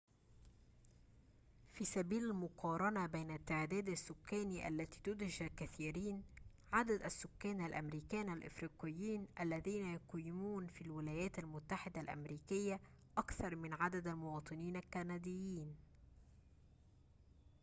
في سبيل المقارنة بين التعداد السكاني التي تدهش الكثيرين عدد السكان الأمريكان الأفريقيين اللذين يقيمون في الولايات المتحدة الأمريكية أكثر من عدد المواطنين الكنديين